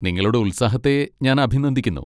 നിങ്ങളുടെ ഉത്സാഹത്തെ ഞാൻ അഭിനന്ദിക്കുന്നു.